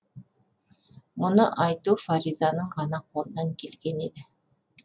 мұны айту фаризаның ғана қолынан келген еді